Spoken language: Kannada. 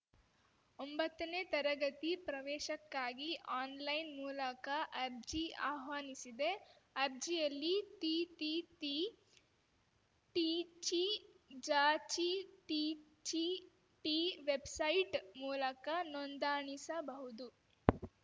ಒಂಬತ್ತನೇ ತರಗತಿ ಪ್ರವೇಶಕ್ಕಾಗಿ ಆನ್‌ಲೈನ್‌ ಮೂಲಕ ಅರ್ಜಿ ಆಹ್ವಾನಿಸಿದೆ ಅರ್ಜಿಯಲ್ಲಿ ತಿತಿತಿಟಿಚಿಜಚಿಥಿಚಿಟಿ ವೆಬ್‌ಸೈಟ್‌ ಮೂಲಕ ನೋಂದಾಣಿಸಬಹುದು